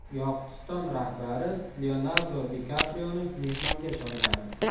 Yoqutiston rahbari Leonardo Di Kaprioni mehmonga chorladi.